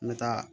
N bɛ taa